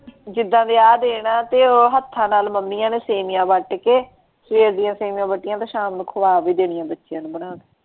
ਜਿਦਾਂ ਦੇ ਆ ਦਿਨ ਆ ਤੇ ਉਹ ਹਥਾਂ ਨਾਲ ਮੰਮੀਆਂ ਨੇ ਸੇਵੀਆਂ ਵੱਟ ਕੇ ਸਵੇਰ ਦੀਆਂ ਸੇਵੀਆਂ ਵੱਟੀਆਂ ਤੇ ਸ਼ਾਮ ਨੂ ਖਵਾ ਵੀ ਦੇਣੀਆਂ ਬਚੀਆਂ ਨੂੰ ਬਣਾ ਕੇ।